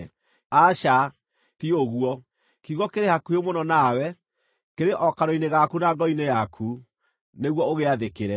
Aca, ti ũguo, kiugo kĩrĩ hakuhĩ mũno nawe; kĩrĩ o kanua-inĩ gaku na ngoro-inĩ yaku, nĩguo ũgĩathĩkĩre.